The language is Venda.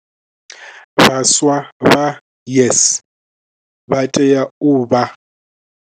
Vhaswa vha YES vha tea u vha.